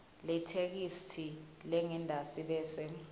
letheksthi lengentasi bese